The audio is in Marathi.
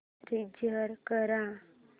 रीचार्ज कर